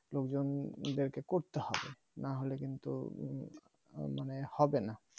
লোকজনদের কে করতে হবে না হলে কিন্তু উহ মানে হবে না